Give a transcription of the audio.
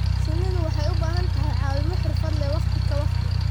Shinnidu waxay u baahan tahay caawimo xirfad leh waqti ka waqti.